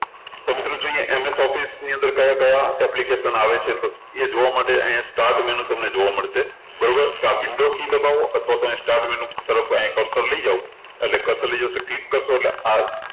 તો મિત્રો જુઓ અહિયાં MS Office ની અંદર કયા ક્યાં application આવે છે એ જોવા માટે અહિયાં start menu તમને જોવા મળશે બરોબર તો આ window key દબાવો અને પોતાને start menu ઉપર અહિયાં cursor લઇ જાઓ અને click કરશો એટલે